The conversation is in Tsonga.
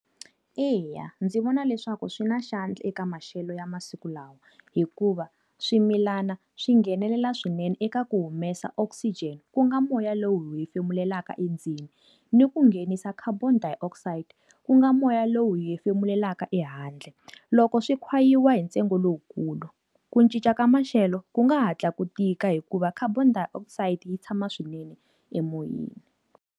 Eya, ndzi vona leswaku swi na xandla eka maxelo ya masiku lawa hikuva swimilana swi nghenelela swinene eka ku humesa oxygen ku nga moya lowu hi hefemulelaka endzeni, ni ku nghenisa carbon dioxide, ku nga moya lowu hi hefemulelaka ehandle. Loko swi khwayiwa hi ntsengo lowukulu, ku cinca ka maxelo ku nga hatla ku tika hikuva carbon dioxide yi tshama swinene emoyeni.